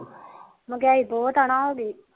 ਮਗਿਆਈ ਬਹੁਤ ਨਾ ਹੋਗੀ